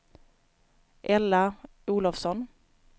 Ella Olovsson